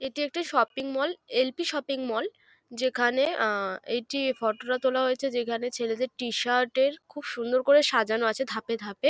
এটি একটি shopping mall LP. Shopping mall. যেখানে অ্যা একটি ফটো তোলা হয়েছে যেখানে ছেলেদের টি-শার্ট এর খুব সুন্দর করে সাজানো আছে ধাপে ধাপে।